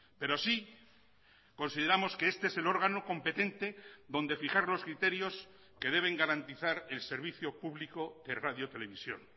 pero sí consideramos que este es el órgano competente donde fijar los criterios que deben garantizar el servicio público de radio televisión